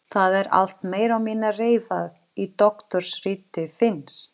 Það er allt meira og minna reifað í doktorsriti Finns.